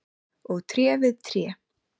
og tré við tré.